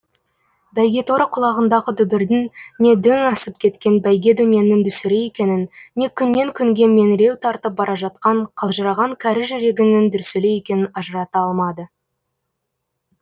бәйгеторы құлағындағы дүбірдің не дөң асып кеткен бәйге дөненнің дүсірі екенін не күннен күнге меңіреу тартып бара жатқан қалжыраған кәрі жүрегінің дүрсілі екенін ажырата алмады